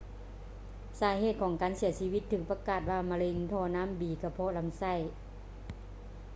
ສາເຫດຂອງການເສຍຊີວິດຖືກປະກາດວ່າເປັນມະເຮັງທໍ່ນ້ຳບີກະເພາະລຳໄສ້